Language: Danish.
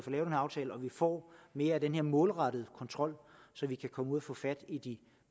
får mere af den her målrettede kontrol så de kan komme ud og få fat i de